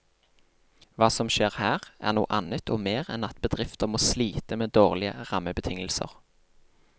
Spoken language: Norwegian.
Hva som skjer her, er noe annet og mer enn at bedrifter må slite med dårlige rammebetingelser.